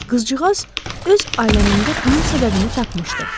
Qızcığaz öz aləmində bunun səbəbini tapmışdı.